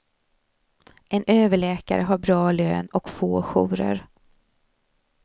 En överläkare har bra lön och få jourer.